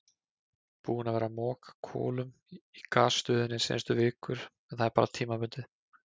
Búinn að vera að moka kolum í gasstöðinni seinustu vikur en það er bara tímabundið.